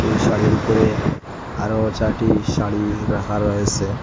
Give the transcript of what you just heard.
এই শাড়ির উপরে আরো চারটি শাড়ি রাখা রয়েসে।